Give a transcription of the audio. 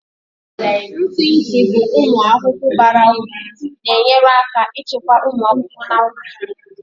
Ntị ntị bụ ụmụ ahụhụ bara uru na-enyere aka ịchịkwa ụmụ ahụhụ na ubi.